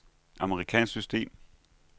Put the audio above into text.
amerikansk system